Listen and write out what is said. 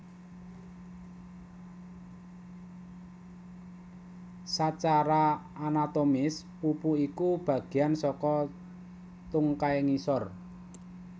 Sacara anatomis pupu iku bagéan saka tungkai ngisor